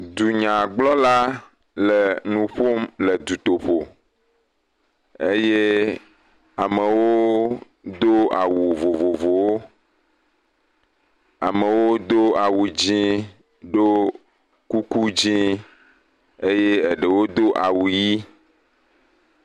Dunyagblɔla le nu ƒom le dutoƒo eye amewo do awu vovovowo. Amewo do awu dzẽ kple kuku dzẽ eye ɖewo do awu yii.